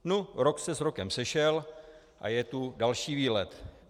Nu, rok se s rokem sešel a je tu další výlet.